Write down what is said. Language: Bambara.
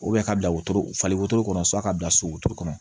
ka bila wotoro falen wotoro kɔnɔ so a ka bila so wotoro kɔnɔ